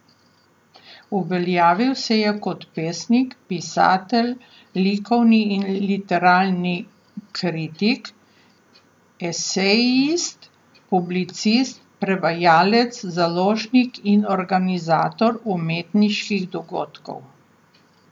Uveljavil se je kot pesnik, pisatelj, likovni in literarni kritik, esejist, publicist, prevajalec, založnik in organizator umetniških dogodkov.